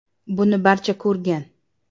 Buni barcha ko‘rgan.